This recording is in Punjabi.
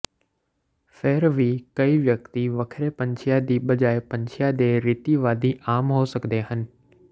ਫਿਰ ਵੀ ਕਈ ਵਿਅਕਤੀ ਵੱਖਰੇ ਪੰਛੀਆਂ ਦੀ ਬਜਾਏ ਪੰਛੀਆਂ ਦੇ ਰੀਤੀਵਾਦੀ ਆਮ ਹੋ ਸਕਦੇ ਹਨ